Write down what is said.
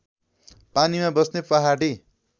पानीमा बस्ने पहाडी